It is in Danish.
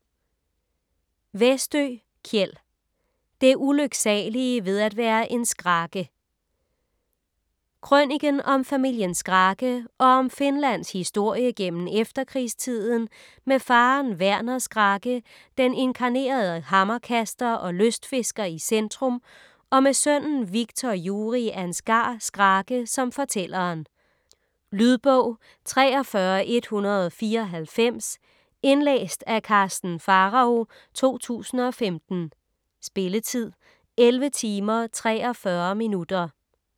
Westö, Kjell: Det ulyksalige ved at være en Skrake Krøniken om familien Skrake og om Finlands historie gennem efterkrigstiden, med faderen Werner Skrake, den inkarnerede hammerkaster og lystfisker i centrum, og med sønnen Wiktor Juri Ansgar Skrake som fortælleren. Lydbog 43194 Indlæst af Karsten Pharao, 2015. Spilletid: 11 timer, 43 minutter.